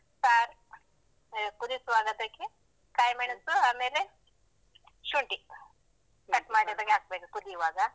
Sir ಕುದಿಸುವಾಗ ಅದಕ್ಕೆ ಕಾಯಿ ಮೆಣಸು, ಆಮೇಲೆ ಶುಂಠಿ cut ಮಾಡಿ ಅದಕ್ಕೆ ಹಾಕ್ಬೇಕು ಕುದಿವಾಗ.